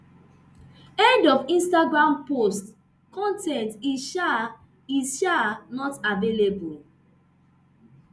end of instagram post con ten t is um is um not available